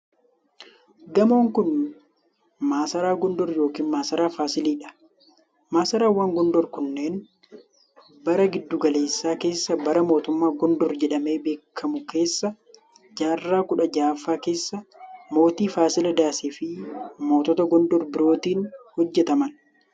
Gamoon kun, masaraa Gondar yokin masaraa Faasilii dha. Masaraawwan Gondar kunneen bara giddu galeessaa keessa bara mootota Gondar jedhamee beekamu keessa jaarraa kudha jahaffaa keessa mootii faasiladas fi mootota Gondar birootin hojjataman.